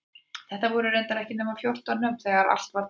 Þetta voru reyndar ekki nema fjórtán nöfn þegar allt var talið.